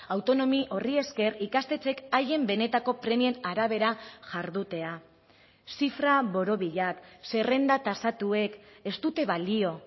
autonomi horri esker ikastetxeek haien benetako premien arabera jardutea zifra borobilak zerrenda tasatuek ez dute balio